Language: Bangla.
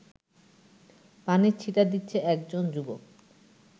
পানির ছিটা দিচ্ছে একজন যুবক